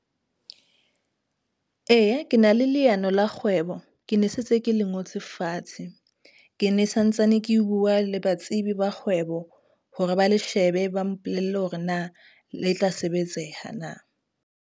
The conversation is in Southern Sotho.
Eya, ke na le leano la kgwebo, ke ne setse ke le ngotse fatshe. Ke ne sa ntsane ke bua le batsebi ba kgwebo hore ba le shebe, ba mpolelle hore na le tla sebetseha na.